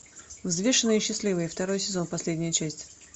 взвешенные и счастливые второй сезон последняя часть